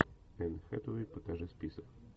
энн хэтэуэй покажи список